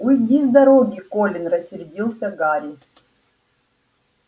уйди с дороги колин рассердился гарри